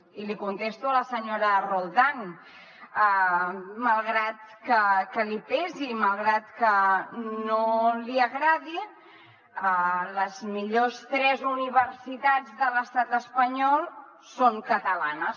i li contesto a la senyora roldán malgrat que li pesi malgrat que no li agradi les millors tres universitats de l’estat espanyol són catalanes